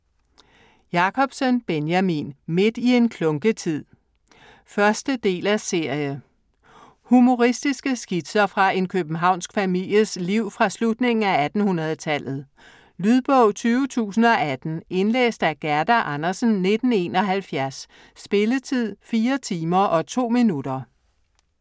Jacobsen, Benjamin: Midt i en klunketid 1. del af serie. Humoristiske skitser fra en københavnsk families liv fra slutningen af 1800-tallet. Lydbog 20018 Indlæst af Gerda Andersen, 1971. Spilletid: 4 timer, 2 minutter.